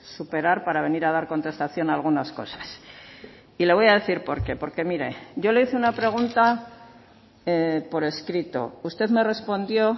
superar para venir a dar contestación algunas cosas y le voy a decir por qué porque mire yo le hice una pregunta por escrito usted me respondió